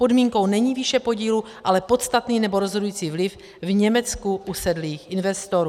Podmínkou není výše podílu, ale podstatný nebo rozhodující vliv v Německu usedlých investorů.